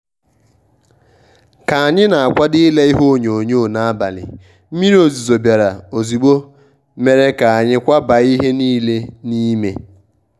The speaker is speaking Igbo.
ka anyị na akwado ile ihe onyonyoo abalị mmiri ozizo biara ozigbo mere ka anyị kwabaa ihe nile n'ime.